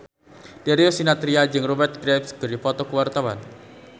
Darius Sinathrya jeung Rupert Graves keur dipoto ku wartawan